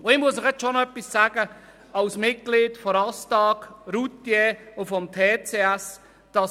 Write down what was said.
Ich muss Ihnen schon noch etwas sagen als Mitglied des Schweizerischen Nutzfahrzeugverbands (ASTAG) und des Touring Club Schweiz (TCS):